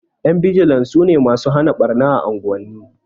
Ƴan bijilan sune masu hana ɓarna a unguwanni